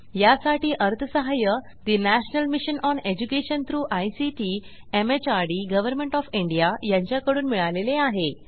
यासाठी अर्थसहाय्य national mission on education through ICT MHRD government of India यांच्याकडून मिळालेले आहे